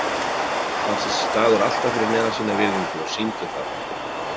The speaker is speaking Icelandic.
Fannst þessi staður alltaf fyrir neðan sína virðingu og sýndu það.